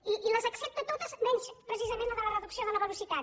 i les accepta totes menys precisament la de la reducció de la velocitat